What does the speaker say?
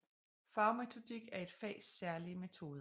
Fagmetodik er et fags særlige metoder